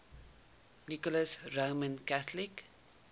nicholas roman catholic